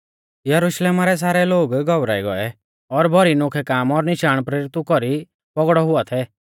यरुशलेमा रै सारै लोग घौबरा ई गौऐ और भौरी नोखै काम और निशाण प्रेरितु कौरी पौगड़ौ हुआ थै